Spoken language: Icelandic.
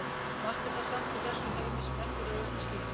Margt er það samt í þessum heimi sem ekki er auðvelt að skilja.